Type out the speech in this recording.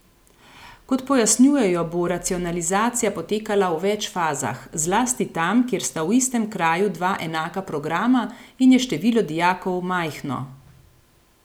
Kot pojasnjujejo, bo racionalizacija potekala v več fazah, zlasti tam, kjer sta v istem kraju dva enaka programa in je število dijakov majhno.